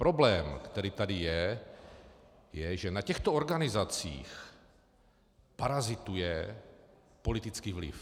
Problém, který tady je, je, že na těchto organizacích parazituje politický vliv.